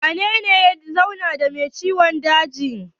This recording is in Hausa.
Wanene ya zauna da mai ciwon dajin?